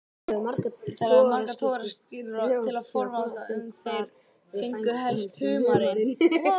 Ég talaði við marga togaraskipstjóra til að forvitnast um hvar þeir fengju helst humarinn.